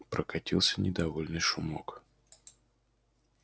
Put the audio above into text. прокатился недовольный шумок